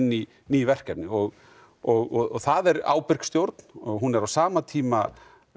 í ný verkefni og og það er ábyrg stjórn hún er á sama tíma